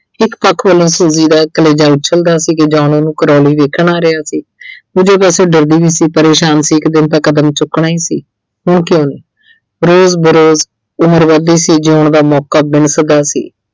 ਇੱਕ ਪੱਖ ਵੱਲੋਂ Suji ਦਾ ਕਲੇਜਾ ਉੱਛਲਦਾ ਸੀ ਕਿ John ਉਹਨੂੰ Crawley ਵੇਖਣ ਆ ਰਿਹਾ ਸੀ। ਦੂਜੇ ਪਾਸੇ ਡਰਦੀ ਵੀ ਸੀ ਪਰੇਸ਼ਾਨ ਕਿ ਇੱਕ ਦਿਨ ਤਾਂ ਕਦਮ ਚੁੱਕਣਾ ਹੀ ਸੀ। ਹੁਣ ਕਿਉਂ ਨਹੀਂ। ਰੋਜ਼ ਉਮਰ ਵੱਧਦੀ ਸੀ ਜਿਉਣ ਦਾ ਮੌਕਾ ਸੀ।